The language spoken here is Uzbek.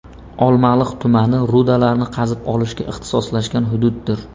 Olmaliq tumani rudalarni qazib olishga ixtisoslashgan hududdir.